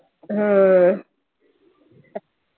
ആഹ്